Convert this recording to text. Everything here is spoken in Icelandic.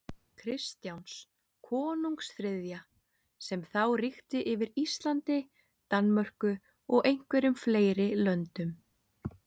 Kristjáns konungs þriðja, sem þá ríkti yfir Íslandi, Danmörku og einhverjum fleiri löndum.